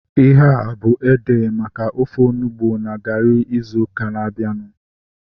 Ihea bụ ede maka ofe onugbu na garị ịzụ ụka na-abianu